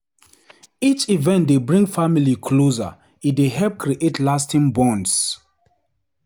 Each event dey bring family closer, e dey help create lasting bonds.